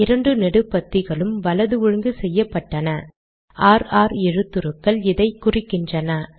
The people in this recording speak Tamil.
இரண்டு நெடுபத்திகளும் வலது ஒழுங்கு செய்யப்பட்டன ர் ர் எழுத்துருக்கள் இதை குறிக்கின்றன